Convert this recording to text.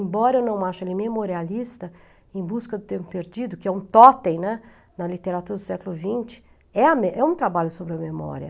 Embora eu não ache ele memorialista, Em Busca do Tempo Perdido, que é um tótem, né, na literatura do século vinte, é a me é um trabalho sobre a memória.